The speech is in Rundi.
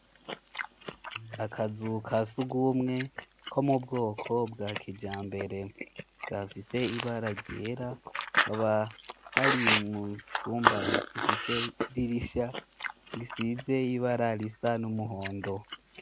akazu kasugumwe ko mubwoko bwa kijambere kafise ibara ryera kaba ari mucumba ifise idirisha risize ibara risa n'umuhondo